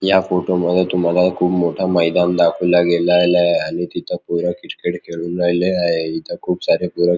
या फोटो मध्ये तुम्हाला खुप मोठे मैदान दाखवले गेलेले आहे आणि तिथ पोर क्रिकेट खेळुन राहिले आहे इथ खुप सारे पोर--